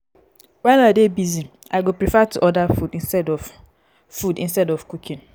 wen i dey busy i go prefer to order food instead food instead of cooking.